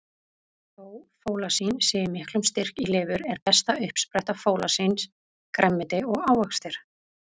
Þó fólasín sé í miklum styrk í lifur, er besta uppspretta fólasíns grænmeti og ávextir.